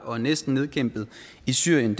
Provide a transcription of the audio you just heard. og næsten nedkæmpet i syrien